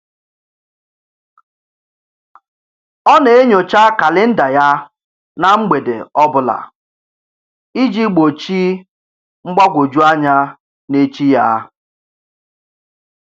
Ọ na-enyocha kalịnda ya na mgbede ọbụla iji gbochi mgbagwoju anya n'echi ya.